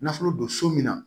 Nafolo don so min na